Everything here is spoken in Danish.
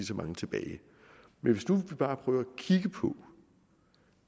så mange tilbage men vi kan bare prøve at kigge på